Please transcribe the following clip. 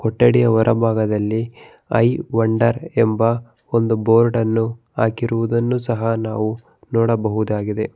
ಕೊಠಡಿಯ ಹೊರ ಭಾಗದಲ್ಲಿ ಐ ವಂಡರ್ ಎಂಬ ಒಂದು ಬೋರ್ಡ್ ಅನ್ನು ಹಾಕಿರುವುದನ್ನು ಸಹ ನಾವು ನೋಡಬಹುದಾಗಿದೆ.